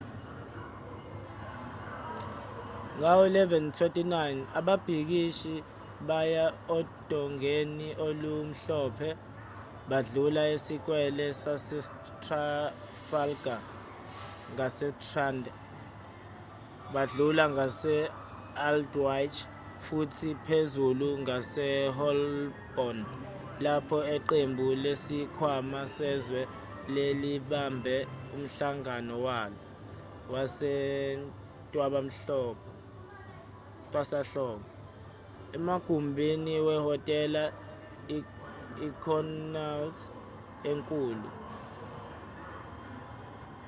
ngawo-11:29 ababhikishi baya odongeni olumhlophe badlula isikwele sasetrafalgar ngasestrand badlula ngase-aldwych futhi phezulu ngaseholborn lapho iqembu lesikhwama sezwe lalibambe umhlangano walo wasentwasahlobo emagumbini wehhotela i-connaught enkulu